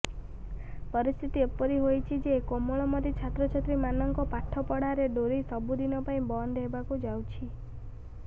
ପରିସ୍ଥିତି ଏପରି ହୋଇଛିଯେ କୋମଳମତି ଛାତ୍ରଛାତ୍ରୀ ମାନଙ୍କ ପାଠ ପଢାର ଡୋରି ସବୁଦିନପାଇଁ ବନ୍ଦ ହେବାକୁ ଯାଉଛି